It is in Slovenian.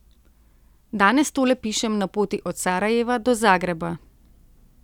Danes tole pišem na poti od Sarajeva do Zagreba.